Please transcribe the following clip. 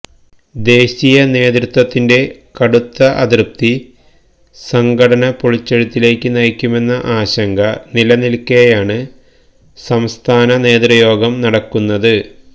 ദേശീയ നേതൃത്വത്തിന്റെ കടുത്ത അതൃപ്തി സംഘടന പൊളിച്ചെഴുത്തിലേക്ക് നയിക്കുമെന്ന ആശങ്ക നിലനില്ക്കേയാണ് സംസ്ഥാന നേതൃയോഗം നടക്കുന്നത്